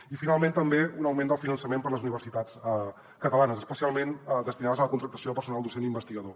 i finalment també un augment del finançament per a les universitats catalanes especialment destinat a la contractació de personal docent i investigador